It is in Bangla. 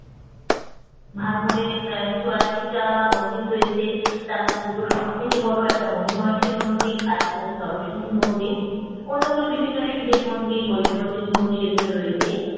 ভরমোর এ চুরাশি টা মন্দির রয়েছে তার মধ্যে দুটো সবথেকে বড় একটা মনিমাহেসর মন্দির আর একটা হচ্ছে নরসিংহের মন্দির অন্যগুলো বিভিন্ন শিবের মন্দির মহিষ মর্দিনী মন্দির এগুলো রয়েছে